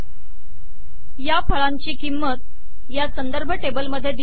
या फळांची किंमत या संदर्भ टेबल मध्ये दिली आहे